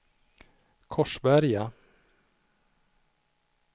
Korsberga